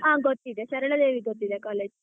ಹಾ ಗೊತ್ತಿದೆ ಸರಳಾದೇವಿ ಗೊತ್ತಿದೆ college .